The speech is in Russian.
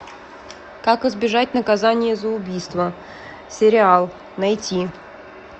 как избежать наказание за убийство сериал найти